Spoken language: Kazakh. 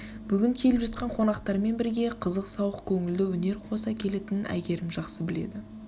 бүгін келіп жаткан қонақтармен бірге қызықсауық көңілді өнер қоса келетінін әйгерім жақсы біледі